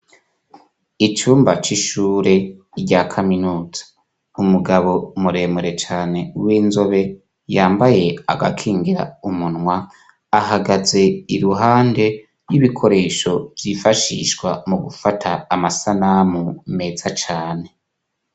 Icumba c'ishure rya kaminuza, umugabo muremure cane w'inzobe yambaye agakingira umunwa, ahagaze iruhande y'ibikoresho vyifashishwa mu gufata amasanamu meza cane.